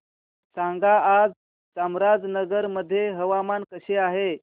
सांगा आज चामराजनगर मध्ये हवामान कसे आहे